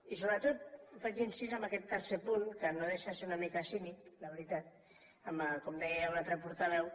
i sobretot faig incís en aquest tercer punt que no deixa de ser una mica cínic la veritat com deia un altre portaveu